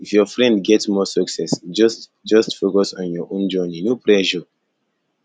if your friend get more success just just focus on your own journey no pressure